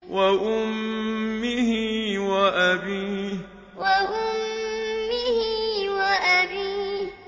وَأُمِّهِ وَأَبِيهِ وَأُمِّهِ وَأَبِيهِ